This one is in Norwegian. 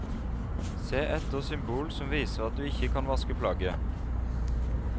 Se etter symbol som viser at du ikke kan vaske plagget.